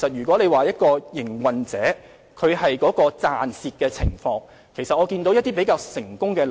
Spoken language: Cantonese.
關於營運者的盈虧情況，我們也看到一些比較成功的例子。